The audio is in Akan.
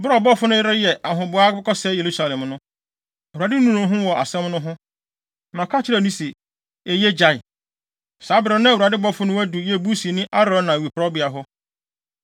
Bere a ɔbɔfo no reyɛ ahoboa akɔsɛe Yerusalem no, Awurade nuu ne ho wɔ asɛm no ho, na ɔka kyerɛɛ no se, “Eye! Gyae.” Saa bere no na Awurade bɔfo no adu Yebusini Arauna awiporowbea hɔ.